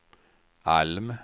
Alm